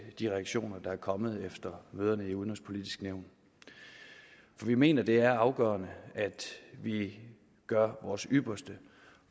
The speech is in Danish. de reaktioner der er kommet efter møderne i det udenrigspolitiske nævn vi mener det er afgørende at vi gør vores ypperste